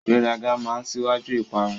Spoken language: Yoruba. Ìgbéraga máa n síwájú ìparun.